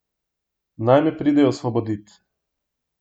Naj me pridejo osvobodit!